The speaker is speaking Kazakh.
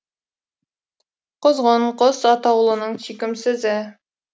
құзғын құс атаулының сүйкімсізі